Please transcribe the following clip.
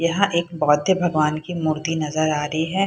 यहाँ एक बौध्य भगवान की मूर्ति नजर आ रही है।